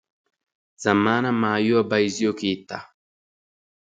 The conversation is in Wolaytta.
Zammaana maayuwa bayizziyo keettaa.